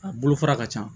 A bolofara ka ca